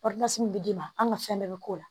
min bɛ d'i ma an ka fɛn bɛɛ bɛ k'o la